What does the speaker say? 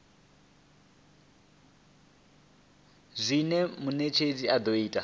zwine munetshedzi a do ita